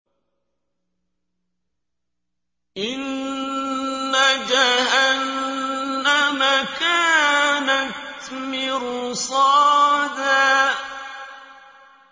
إِنَّ جَهَنَّمَ كَانَتْ مِرْصَادًا